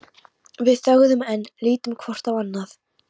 Við þögðum enn, litum hvort á annað.